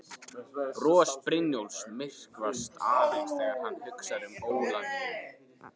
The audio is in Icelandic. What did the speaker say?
Bros Brynjólfs myrkvast aðeins þegar hann hugsar um Ólafíu.